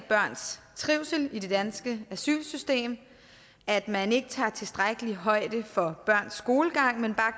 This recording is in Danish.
børns trivsel i det danske asylsystem at man ikke tager tilstrækkelig højde for børns skolegang men bare